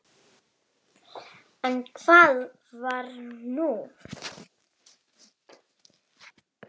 En hvað var nú?